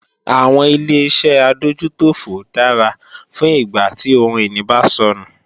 Àwọn Ileṣẹ́ adójútòfò dára fún ìgbà tí ohun ìní bá sọnù